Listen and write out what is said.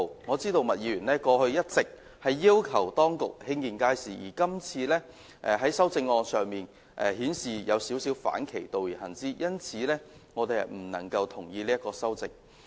我知道麥議員過去一直要求當局興建街市，但她今次的修正案卻有少許反其道而行，因此我們不能同意這項修正案。